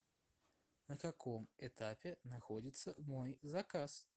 на каком этапе находится мой заказ